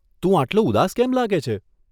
તું આટલો ઉદાસ કેમ લાગે છે?